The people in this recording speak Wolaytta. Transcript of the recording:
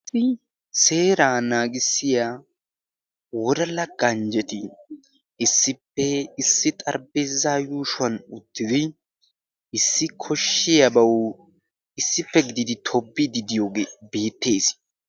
Seera naagissiya wodala ganjjeti issippe issi xaribeezaa yuushuwan uttidi issi koshshiyaa bawu issippe gidiidi toobbiididiyoogee beettees.